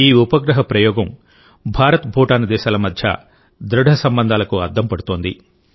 ఈ ఉపగ్రహ ప్రయోగం భారత్భూటాన్ దేశాల మధ్య దృఢ సంబంధాలకు అద్దం పడుతోంది